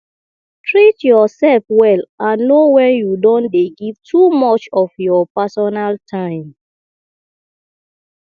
treat your self well and know when you don dey give too much of your personal time